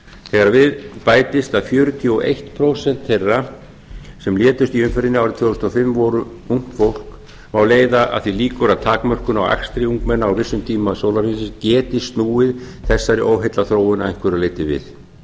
þegar við bætist að fjörutíu og eitt prósent þeirra sem létust í umferðinni árið tvö þúsund og fimm voru ungt fólk má leiða að því líkur að takmörkun á akstri ungmenna á vissum tímum sólarhringsins geti snúið þessari óheillaþróun að einhverju leyti við